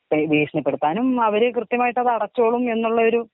ഭീഷണിപ്പെടുത്താനും അവര് കൃത്യമായിട്ട് അത് അടച്ചോളും എന്നുള്ള ഒരു.